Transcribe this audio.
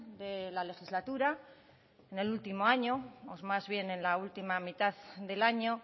de la legislatura en el último año o más bien en la última mitad del año